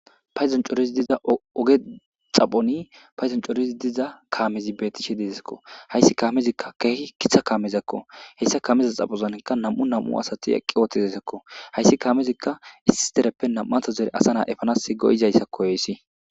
Payzon coorizi diza oge xaphoni payzon coorizi diza kaamezi bettishe dezakko hayssi kaamezikka keehi kitha kaamezakko heyssa kaameza xaphozankka nam'u nam7u asati eqqi ooththizasakko hayssi kaamezikka issi dereppe nam'ato zere asa naa efanas go7izayssakko oyssi.